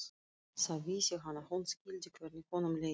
Þá vissi hann að hún skildi hvernig honum leið.